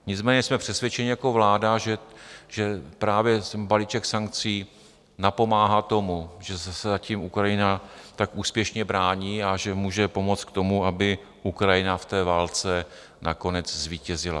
Nicméně jsme přesvědčeni jako vláda, že právě balíček sankcí napomáhá tomu, že se zatím Ukrajina tak úspěšně brání, a že může pomoci k tomu, aby Ukrajina v té válce nakonec zvítězila.